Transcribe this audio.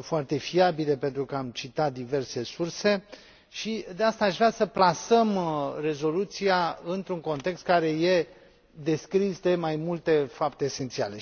foarte fiabile, pentru că am citat diverse surse și de aceea aș vrea să plasăm rezoluția într un context care este descris de mai multe fapte esențiale.